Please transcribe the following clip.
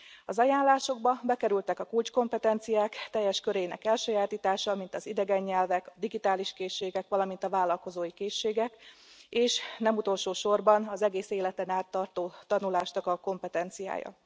Az ajánlásokba bekerültek a kulcskompetenciák teljes körének elsajátítása, mint az idegen nyelvek, digitális készségek, valamint a vállalkozói készségek, és nem utolsó sorban az egész életen át tartó tanulásnak a kompetenciája.